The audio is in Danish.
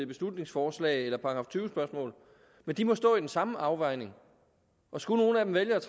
beslutningsforslag men de må stå med den samme afvejning og skulle nogle af dem vælge